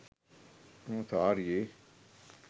එම සාරියේ